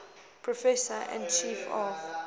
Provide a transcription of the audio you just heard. professor and chief of